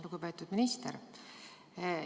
Lugupeetud minister!